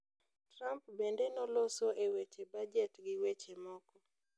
Trump bende noloso e weche bajet gi weche moko